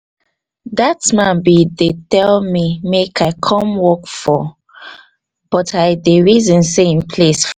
dat man bin dey tell me make i con work for but i bin dey reason sey im place